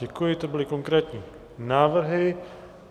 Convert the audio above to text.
Děkuji, to byly konkrétní návrhy.